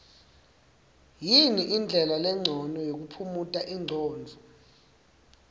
yini ndlela lencono yokuphumuta ingcondvo